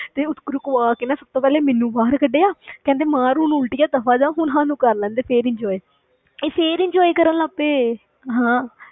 ਤੇ ਉਹ ਰੁਕਵਾਕੇ ਨਾ ਸਭ ਤੋਂ ਪਹਿਲੇ ਮੈਨੂੰ ਬਾਹਰ ਕੱਢਿਆ ਕਹਿੰਦੇ ਮਾਰ ਹੁਣ ਉਲਟੀਆਂ ਦਫ਼ਾ ਜਾ, ਹੁਣ ਸਾਨੂੰ ਕਰ ਲੈਣਦੇ ਫਿਰ enjoy ਇਹ ਫਿਰ enjoy ਕਰਨ ਲੱਗ ਪਏ ਹਾਂ।